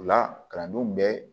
O la kalandenw bɛ